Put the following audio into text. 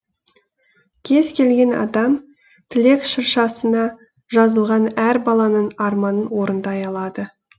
кез келген адам тілек шыршасына жазылған әр баланың арманын орындай алады